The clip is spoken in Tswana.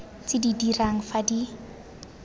tse di dirang fa di